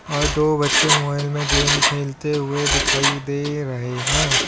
और दो बच्चे मोबाइल में गेम खेलते हुए दिखाई दे रहे हैं।